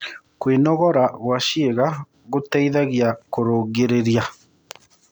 Kwĩnogora gwa ciĩga gũteĩthagĩa kũrũngĩrĩrĩa